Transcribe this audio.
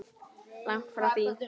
Langt því frá.